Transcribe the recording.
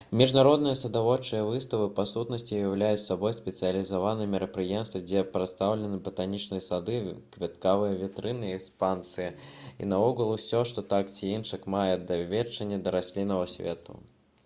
міжнародныя садаводчыя выставы па сутнасці ўяўляюць сабой спецыялізаваныя мерапрыемствы дзе прадстаўлены батанічныя сады кветкавыя вітрыны і экспазіцыі і наогул усё што так ці інакш мае дачыненне да расліннага свету